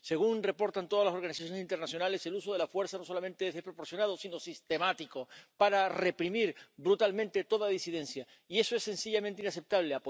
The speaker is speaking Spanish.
Según reportan todas las organizaciones internacionales, el uso de la fuerza no solamente es desproporcionado sino sistemático, para reprimir brutalmente toda disidencia, y eso es sencillamente inaceptable.